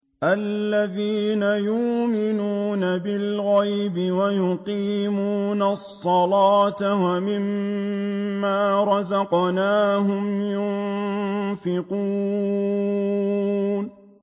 الَّذِينَ يُؤْمِنُونَ بِالْغَيْبِ وَيُقِيمُونَ الصَّلَاةَ وَمِمَّا رَزَقْنَاهُمْ يُنفِقُونَ